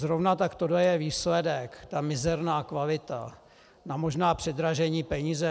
Zrovna tak, tohle je výsledek, ta mizerná kvalita za možná předražené peníze.